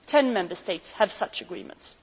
Ten Member States have such agreements.